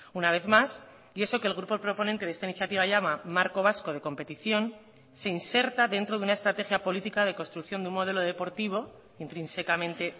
una vez más y eso que el grupo proponente de esta iniciativa llama marco vasco de competición se inserta dentro de una estrategia política de construcción de un modelo deportivo intrínsecamente